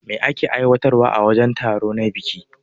Me ake yi aiwatar a wajen taro na biki?